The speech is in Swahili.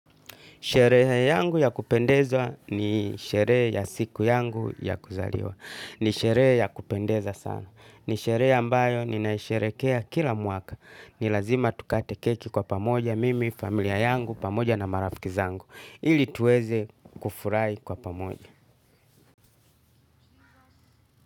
Sherehe yangu ya kupendeza ni sherehe ya siku yangu ya kuzaliwa. Ni sheree ya kupendeza sana. Ni sherehe ambayo ni naisherekea kila mwaka. Ni lazima tukate keki kwa pamoja mimi, familia yangu, pamoja na marafiki zangu. Ili tuweze kufurai kwa pamoja.